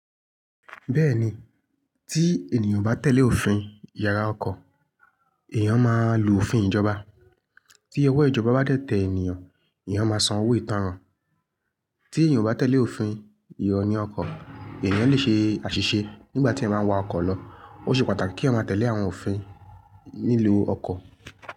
Bẹ́ẹ̀ni, tí ènìyàn bá ò tẹ̀lé òfin yàrá ọkọ̀, èèyàn máa lu òfin ìjọba. Tí ọwọ́ ìjọba bá dẹ̀ tẹ ènìyàn, èèyàn máa san owó ìtanràn. Tí ènìyàn o bá tẹ̀lé òfin ìyoni ọkọ̀, èèyàn lè ṣe àṣìṣe nígbà tí èniyan ba ń wa ọkọ̀ lọ. Ó ṣe pàtàkì kí èniyan máa tẹ̀lé àwọn òfin nílu ọkọ̀.